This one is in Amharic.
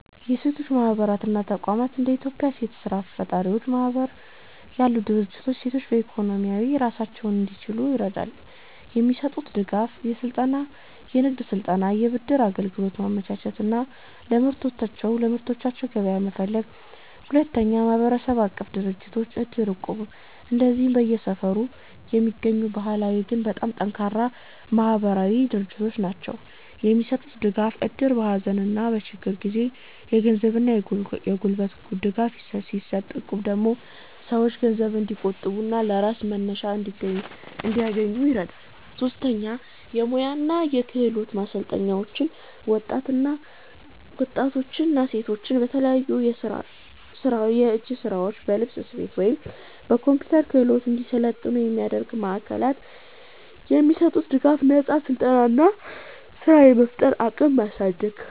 1. የሴቶች ማህበራት እና ተቋማት እንደ የኢትዮጵያ ሴት ስራ ፈጣሪዎች ማህበር ያሉ ድርጅቶች ሴቶች በኢኮኖሚ ራሳቸውን እንዲችሉ ይረዳሉ። የሚሰጡት ድጋፍ፦ የንግድ ስልጠና፣ የብድር አገልግሎት ማመቻቸት እና ለምርቶቻቸው ገበያ መፈለግ። 2. ማህበረሰብ-አቀፍ ድርጅቶች (እድር እና እቁብ) እነዚህ በየሰፈሩ የሚገኙ ባህላዊ ግን በጣም ጠንካራ ማህበራዊ ድርጅቶች ናቸው። የሚሰጡት ድጋፍ፦ እድር በሀዘንና በችግር ጊዜ የገንዘብና የጉልበት ድጋፍ ሲሰጥ፣ እቁብ ደግሞ ሰዎች ገንዘብ እንዲቆጥቡና ለስራ መነሻ እንዲያገኙ ይረዳል። 3. የሙያ እና የክህሎት ማሰልጠኛዎች ወጣቶችና ሴቶች በተለያዩ የእጅ ስራዎች፣ በልብስ ስፌት ወይም በኮምፒውተር ክህሎት እንዲሰለጥኑ የሚያደርጉ ማዕከላት። የሚሰጡት ድጋፍ፦ ነፃ ስልጠና እና ስራ የመፍጠር አቅምን ማሳደግ።